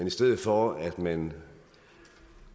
i stedet for at man